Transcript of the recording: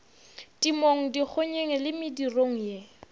temong dikgonyeng le medirong ye